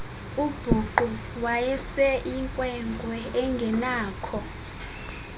ubhuqa wayeseyinkwenkwe engenakho